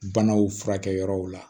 Banaw furakɛ yɔrɔw la